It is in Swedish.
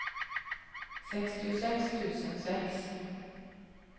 sextiosex tusen sex